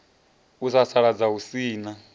u sasaladza hu si na